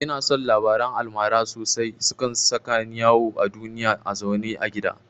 Ina son labaran almara sosai, sukan saka ni yawo a duniya a zaune a gidana